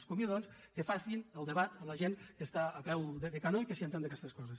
els convido doncs que facin el debat amb la gent que està al peu del canó i que hi entén en aquestes coses